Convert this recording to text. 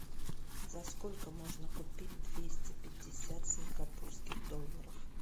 за сколько можно купить двести пятьдесят сингапурских долларов